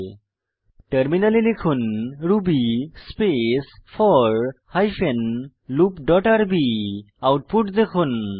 এখন টার্মিনালে লিখুন Ruby space four hyphen loop dot rb output দেখুন